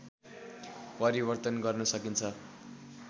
परिवर्तन गर्न सकिन्छ